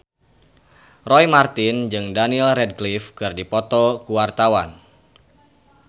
Roy Marten jeung Daniel Radcliffe keur dipoto ku wartawan